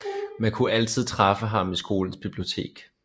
Man kunne altid træffe ham i skolens bibliotek